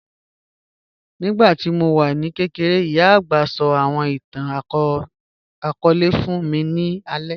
Nígbàtí mó wà ní kẹ̀kẹ̀rẹ̀, ìyá agbá sọ̀ àwọn ìtàn-akọọlẹ̀ fún mí ní àlẹ̀